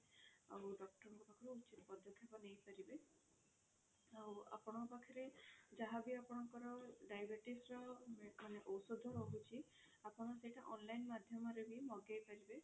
ଆଉ doctor ଙ୍କ ପାଖରୁ ଉଚିତ ପଦକ୍ଷେପ ନେଇ ପାରିବେ ଆଉ ଆପଣଙ୍କ ପାଖରେ ଯାହା ବି ଆପଣଙ୍କର diabetes ର ମାନେ ଓଷଧ ରହୁଛି ଆପଣ ସେଇଟା online ମାଧ୍ୟମରେ ବି ମଗେଇ ପାରିବେ